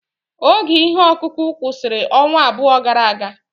Oge ihe ọkụkụ kwụsịrị ọnwa abụọ gara aga.